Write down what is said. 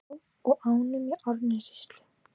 Þverá og ánum í Árnessýslu.